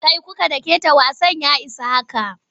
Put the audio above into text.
Kai ku dakata wasan ya isa haka!